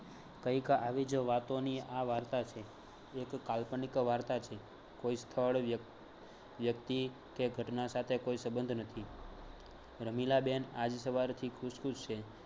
કંઈક આવી જ વાતોની આ વાર્તા છે એક કાલ્પનિક વાર્તા છે કોઈ સ્થળ, વ્ય વ્યક્તિ કે ઘટના સાથે કોઈ સબંધ નથી. રમીલા બેન આજ સવારથી ખુશ ખુશ છે